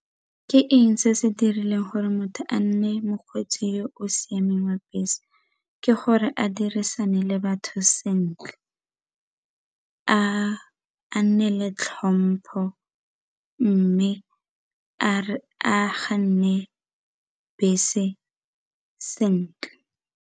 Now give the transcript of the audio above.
Ke eng se se dirileng gore motho a nne mokgweetsi yo o siameng wa bese ke gore a dirisane le batho sentle a nneele tlhompho mme a bese sentle.